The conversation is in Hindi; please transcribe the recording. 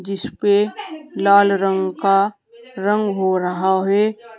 जिस पे लाल रंग का रंग हो रहा है।